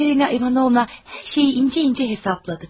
Katerina İvanovna hər şeyi incə-incə hesabladı.